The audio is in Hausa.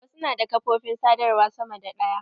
Wasu na da ƙafofin sadawar sama da ɗaya.